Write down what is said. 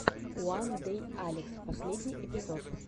уандэйалекс последний эпизод